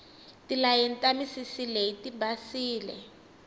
tilayeni ta misisi leyi tibasile